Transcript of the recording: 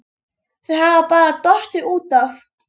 Þau hafa bara dottið út af